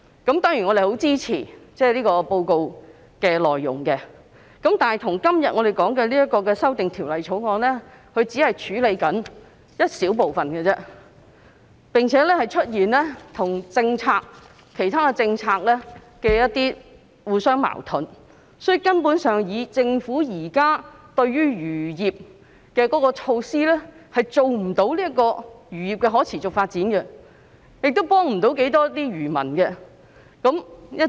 我當然十分支持報告的內容，但我們今天討論的《條例草案》只是處理一小部分問題而已，並且跟其他政策互相矛盾，所以政府現時就漁業推行的措施根本無法令漁業達致可持續發展，也幫不了漁民多少。